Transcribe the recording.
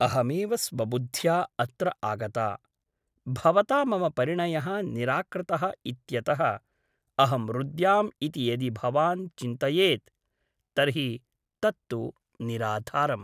अहमेव स्वबुद्ध्या अत्र आगता । भवता मम परिणयः निराकृतः इत्यतः अहं रुद्याम् इति यदि भवान् चिन्तयेत् तर्हि तत् तु निराधारम् ।